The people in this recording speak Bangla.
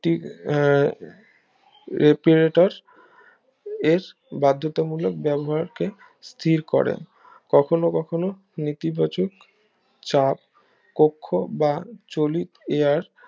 একটি আহ এর বাধ্যতা মূলক ব্যবহার কে স্থির করেন কখনো কখনো নীতি বাচক চাপ কক্ষ বা চলিত এয়ার